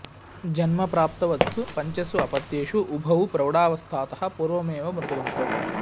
जन्म प्राप्तवत्सु पञ्चसु अपत्येषु उभौ प्रौढावस्थातः पूर्वमेव मृतवन्तौ